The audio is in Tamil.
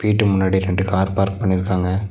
வீட்டு முன்னாடி ரெண்டு கார் பார்க் பண்ணிருக்காங்க.